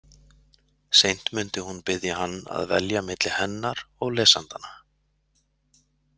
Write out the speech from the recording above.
Seint mundi hún biðja hann að velja milli hennar og lesendanna.